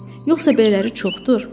Yoxsa belələri çoxdur?